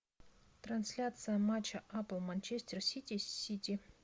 трансляция матча апл манчестер сити с сити